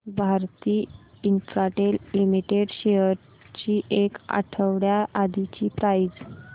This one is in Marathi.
भारती इन्फ्राटेल लिमिटेड शेअर्स ची एक आठवड्या आधीची प्राइस